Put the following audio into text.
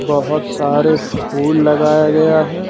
बहुत सारे फूल लगाया गया है।